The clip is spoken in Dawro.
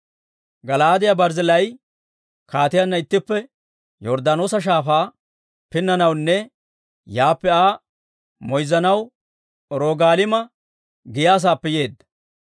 Gala'aadiyaa Barzzillaayi kaatiyaanna ittippe Yorddaanoosa Shaafaa pinnanawunne yaappe Aa moyzzanaw Rogaliima giyaa saappe yeedda.